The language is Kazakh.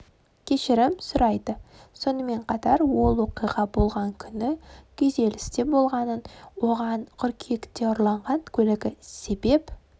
кешірім сұрайды сонымен қатар ол оқиға болған күні күйзелісте болғанын оған қыркүйекте ұрланған көлігі себеп